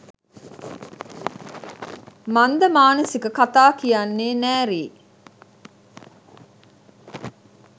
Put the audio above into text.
මන්දමානසික කතා කියන්නෙ නෑරී